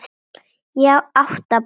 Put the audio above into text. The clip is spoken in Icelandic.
Átta ára